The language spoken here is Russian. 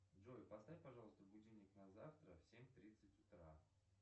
джой поставь пожалуйста будильник на завтра в семь тридцать утра